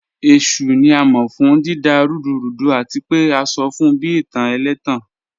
Eshu ni a mọ fun dida rudurudu ati pe a sọ fun bi itan ẹlẹtan